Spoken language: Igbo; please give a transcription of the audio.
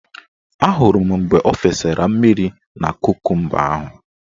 Ahụrụ m mgbe o fesara mmiri na kokumba ahụ.